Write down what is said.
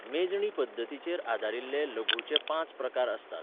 मेजणी पद्दतीचेर आदारिल्ले लघूचे पांच प्रकार आसतात.